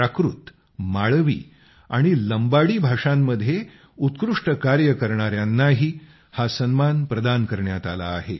प्राकृत माळवी आणि लंबाडी भाषांमध्ये उत्कृष्ट कार्य करणाऱ्यांनाही हा सन्मान प्रदान करण्यात आला आहे